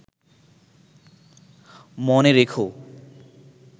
মনে রেখো